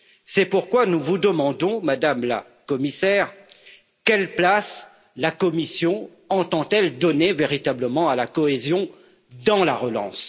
C'est pourquoi nous vous demandons, Madame la Commissaire, quelle place la Commission entend donner véritablement à la cohésion dans la relance.